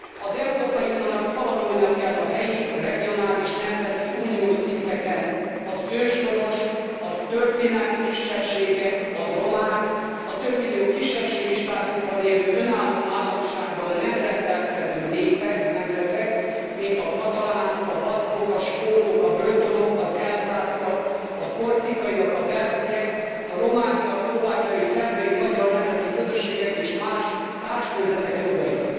Az Európai Uniónak szavatolnia kell a helyi, regionális, nemzeti, uniós szinteken az őshonos, a történelmi kisebbségek, a romák, a több millió kisebbségi státuszban élő, önálló államisággal nem rendelkező népek, nemzetek, mint a katalánok, a baszkok, a skótok, a bretonok, az elzásziak, a korzikaiak, a walesiek, a romániai, szlovákiai és szerbiai magyar nemzeti közösségek és más társnemzetek jogait.